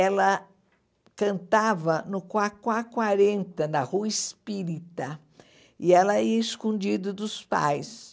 Ela cantava no Quaquaquarenta, na Rua Espírita, e ela ia escondida dos pais.